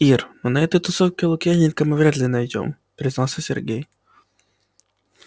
ир ну на этой тусовке лукьяненко мы вряд ли найдём признался сергей